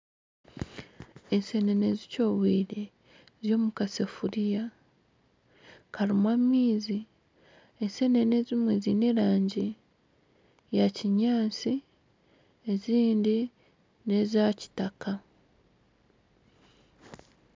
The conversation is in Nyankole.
Enseenene zikyobwire ziri omu kasefuriya karimu amaizi. Enseenene ezimwe ziine erangi ya kinyaatsi ezindi n'eza kitaka.